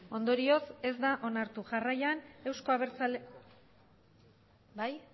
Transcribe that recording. ondorioz ez da onartu jarraian euzko abertzalea bai